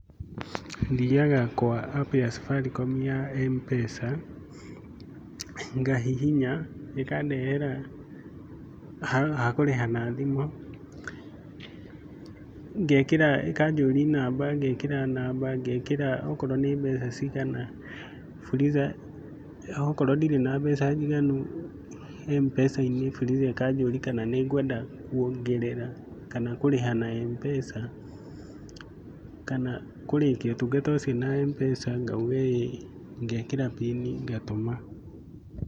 Thiaga kwa app ya Safaricom ya M-Pesa, ngahihinya ĩkandehera ha kũrĩha na thimũ. Ngekĩra, ikanjũria namba ngekĩra namba ngekĩra okorwo nĩ mbeca cigana, Fuliza okorwo ndirĩ na mbeca njiganu M-Pesa-inĩ Fuliza ikanjũria kana ni ngwenda kuongerera kana kũrĩha na M-Pesa kana kũrĩkia ũtungata ũcio na M-Pesa ,ngauga ĩĩ ngekira mbini ngatũma.